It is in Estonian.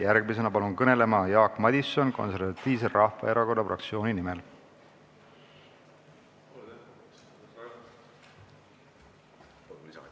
Järgmisena palun kõnelema Jaak Madisoni Konservatiivse Rahvaerakonna fraktsiooni nimel!